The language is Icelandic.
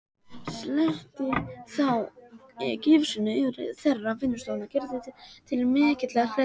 Sletti þá gifsinu yfir þvera vinnustofuna Gerði til mikillar hrellingar.